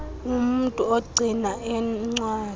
umntu ogcina iincwadi